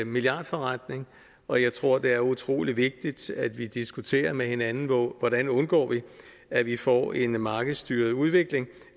milliardforretning og jeg tror det er utrolig vigtigt at vi diskuterer med hinanden hvordan vi undgår at vi får en markedsstyret udvikling